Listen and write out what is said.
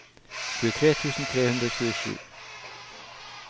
tjuetre tusen tre hundre og tjuesju